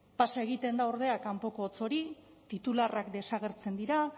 pasa egiten da ordea kanpoko hotz hori titularrak desagertzen dira